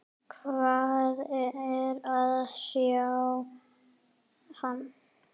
Hvað er að hrjá hann?